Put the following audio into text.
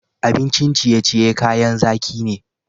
Abincin ciye-ciye kayan zaki ne.